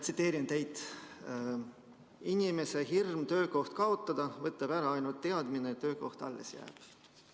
Tsiteerin teid: "Inimese hirmu töökoht kaotada võtab ära ainult teadmine, et töökoht alles jääb.